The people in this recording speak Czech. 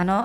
Ano.